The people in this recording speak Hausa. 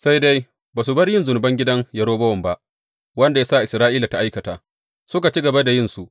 Sai dai ba su bar yin zunuban gidan Yerobowam ba, wanda ya sa Isra’ila ta aikata; suka ci gaba da yinsu.